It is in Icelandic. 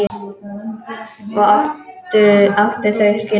Og átti þau skilið.